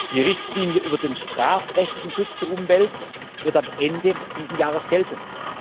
Die Richtlinie über den strafrechtlichen Schutz der Umwelt wird ab Ende dieses Jahres gelten.